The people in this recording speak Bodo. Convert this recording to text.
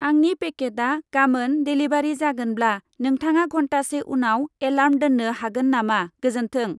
आंनि पेकेटआ गामोन देलिभारि जागोनब्ला, नोंथाङा घन्टासे उनाव एलार्म दोन्नो हागोन नामा, गोजोन्थों।